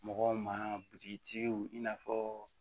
Mɔgɔw ma butigiw i n'a fɔ